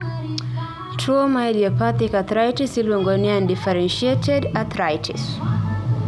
tuo ma idiopathic arthritis iluongo ni undefferentiated arthritis